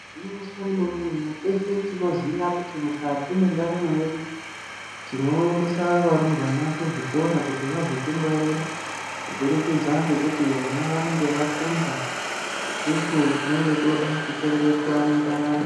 Gwinyiso remene mene teshe tinoziya kuti mukati mwendaramo yedu tiboendesa varumbwana kuzvikora kuti vazotingwarira kuburikidza ngekuti vona vanenge vafunda isusu tinenge toda kuchengetwa mundaramo.